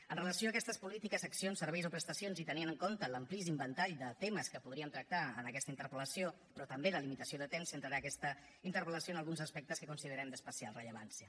amb relació a aquestes polítiques accions serveis o prestacions i tenint en compte l’amplíssim ventall de temes que podríem tractar en aquesta interpel·lació però també de limitació de temps centraré aquesta interpel·lació en alguns aspectes que considerem d’especial rellevància